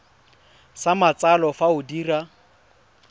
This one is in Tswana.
sa matsalo fa o dira